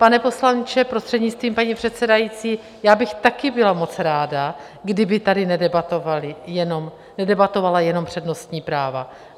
Pane poslanče, prostřednictvím paní předsedající, já bych taky byla moc ráda, kdyby tady nedebatovala jenom přednostní práva.